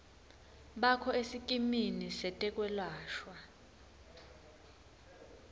bakho esikimini setekwelashwa